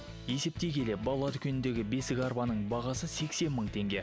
есептей келе балалар дүкеніндегі бесікарбаның бағасы сексен мың теңге